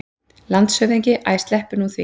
LANDSHÖFÐINGI: Æ, sleppum nú því!